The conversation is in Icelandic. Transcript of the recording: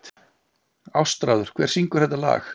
Ástráður, hver syngur þetta lag?